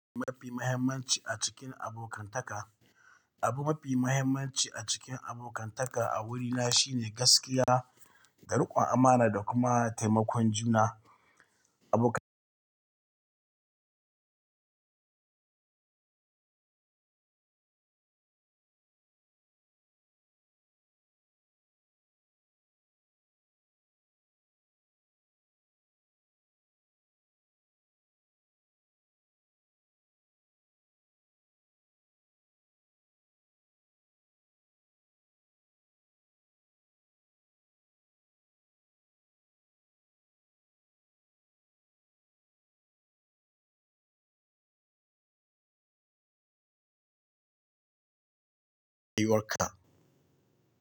Mafi muhimmanci a cikin abokantaka, abu mafi mahimmanci a cikin abokantaka a wurina shine gaskiya da riƙon amana da kuma taimakon juna. Abokan.